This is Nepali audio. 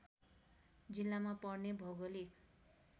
जिल्लामा पर्ने भौगोलिक